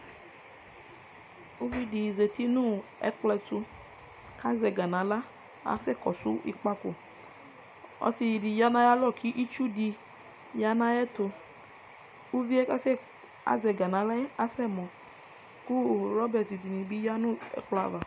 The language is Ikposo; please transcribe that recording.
Uvi di zati nʋ ɛkplɔ ɛtʋ,k' azɛ ɛga naɣla kasɛ kɔsʋ ɩkpakoƆsɩ dɩ ya nayalɔ kitsu dɩ ya nayɛtʋUvie azɛ ɛga naɣla yɛ asɛ mɔ kʋ ɣlɔbɛtɩ dɩnɩ bɩ yǝ nʋ ɛkplɔ ava